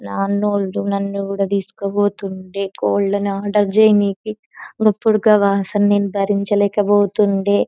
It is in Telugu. నానోళ్లు నన్ను కూడా తీసుకుపోతుండే కోళ్లు ను ఆర్డర్ చేయానికి గపుడు ఆ వాసన నేను భరించలేక పోతుండే .